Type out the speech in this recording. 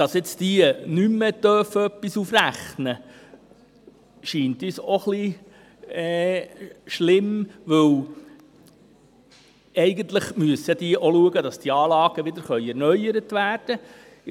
Dass diese nun nicht mehr etwas aufrechnen dürfen, scheint uns auch ein wenig schlimm, weil: Eigentlich müssen auch diese schauen, dass die Anlagen wieder erneuert werden können.